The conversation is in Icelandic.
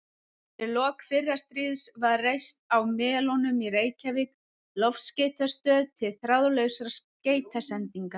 Undir lok fyrra stríðs var reist á Melunum í Reykjavík loftskeytastöð til þráðlausra skeytasendinga.